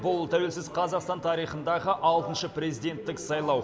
бұл тәуелсіз қазақстан тарихындағы алтыншы президенттік сайлау